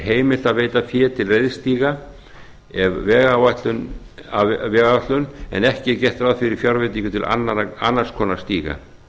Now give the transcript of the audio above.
heimilt að veita fé til reiðstíga af vegáætlun en ekki er gert ráð fyrir fjárveitingum til annars konar stíga